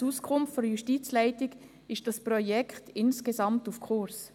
Gemäss Auskunft der Justizleitung ist dieses Projekt insgesamt auf Kurs.